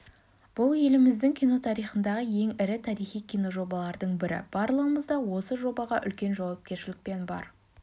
бұл еліміздің кино тарихындағы ең ірі тарихи киножобалардың бірі барлығымыз да осы жобаға үлкен жауапкершілікпен бар